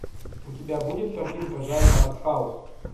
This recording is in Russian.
у тебя будет картинка жанра артхаус